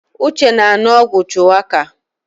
Uche na-anu ogwu Shuwaka